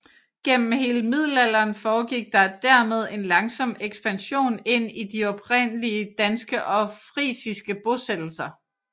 Gennem hele middelalderen foregik der dermed en langsom ekspansion ind i de oprindelige danske og frisiske bosættelser